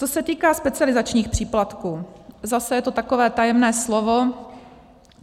Co se týká specializačních příplatků, zase je to takové tajemné slovo.